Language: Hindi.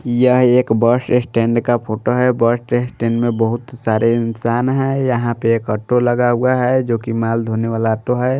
यह एक बस स्टैंड का फोटो है बस स्टैंड में बहुत सारे इंसान हैं यहां पे एक ऑटो लगा हुआ है जो कि माल धोने वाला ऑटो है।